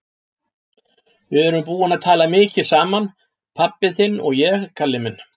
Við erum búin að tala mikið saman, pabbi þinn og ég, Kalli minn.